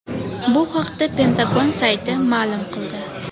Bu haqda Pentagon sayti ma’lum qildi .